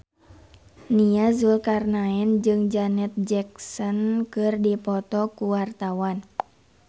Nia Zulkarnaen jeung Janet Jackson keur dipoto ku wartawan